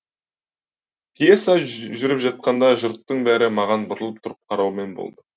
пьеса жүріп жатқанда жұрттың бәрі маған бұрылып тұрып қараумен болды